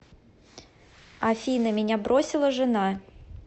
афина меня бросила жена